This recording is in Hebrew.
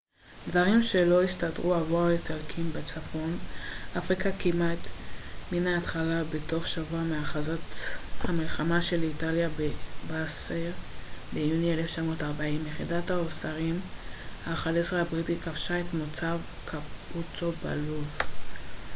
דברים לא הסתדרו עבור האיטלקים בצפון אפריקה כמעט מן ההתחלה בתוך שבוע מהכרזת המלחמה של איטליה ב-10 ביוני 1940 יחידת ההוסארים ה-11 הבריטית כבשה את מוצב קאפוצו בלוב